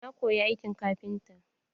Na koyi aikin kafinta.